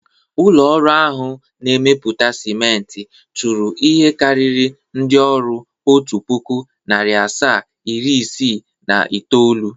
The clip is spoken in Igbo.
Ụlọ ọrụ ahụ a na-arụpụta siment chụrụ ihe karịrị ndị ọrụ otu pụkụ, nari asaa, iri isii na itoolu.